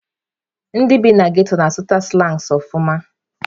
Ndị bi na ghetto na-asụta sụlangs nke ọma.